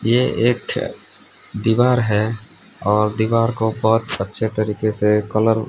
ये एक दीवार है और दीवार को बहुत अच्छे तरीके से कलर --